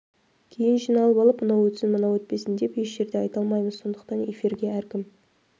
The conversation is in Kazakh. кейін жиналып алып мынау өтсін мынау өтпесін деп еш жерде айта алмаймыз сондықтан эфирге әркім